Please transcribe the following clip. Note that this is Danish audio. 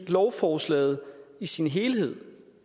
lovforslaget i sin helhed